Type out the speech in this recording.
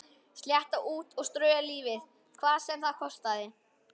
Slétta út og strauja lífið hvað sem það kostaði.